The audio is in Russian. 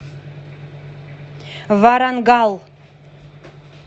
варангал